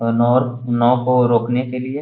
और नाव नाव को रोकने के लिए --